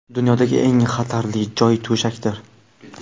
Dunyodagi eng xatarli joy to‘shakdir.